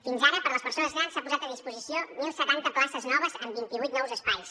fins ara per a les persones grans s’han posat a disposició mil setanta places noves amb vint i vuit nous espais